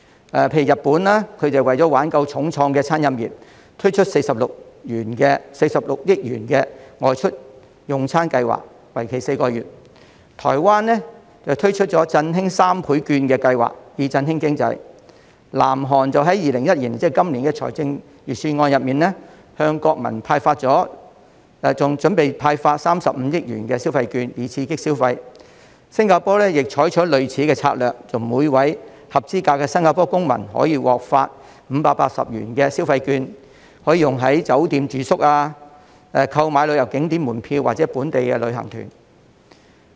例如日本為了挽救重創的餐飲業，推出46億元的外出用餐計劃，為期4個月；台灣亦推出了"振興三倍券"計劃，以振興經濟；南韓於2021年的財政預算案中，準備向國民派發35億元的消費券，以刺激消費；新加坡亦採取類似的策略，每名合資格的新加坡公民可以獲發580元的消費券，可以用於酒店住宿、購買旅遊景點門票或本地的旅行團。